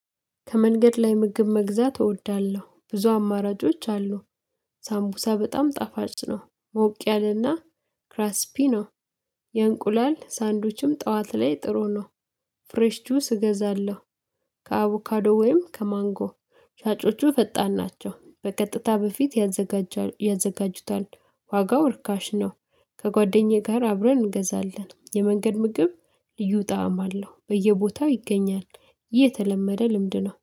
ከመንገድ ላይ ምግብ መግዛት እወዳለሁ። ብዙ አማራጮች አሉ። ሳምቡሳ በጣም ጣፋጭ ነው ሞቅ ያለና ክራስፒ ነው። የእንቁላል ሳንዶዱችም ጠዋት ላይ ጥሩ ነው። ፍሬሽ ጁስ እገዛለሁ። ከአቡካዶ ወይም ከማንጎ ሻጮቹ ፈጣን ናቸው በቀጥታ በፊት ያዘጋጁታል። ዋጋው ርካሽ ነው። ከጓደኛዬ ጋር አብረን እንገዛለን። የመንገድ ምግብ ልዩ ጣዕም አለው። በየቦታው ይገኛል። የተለመደ ልምድ ነው።